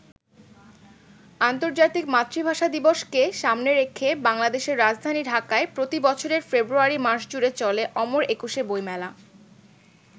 আন্তর্জাতিক মাতৃভাষা দিবসকে সামনে রেখে বাংলাদেশের রাজধানী ঢাকায় প্রতি বছরের ফেব্রুয়ারি মাসজুড়ে চলে অমর একুশে বইমেলা।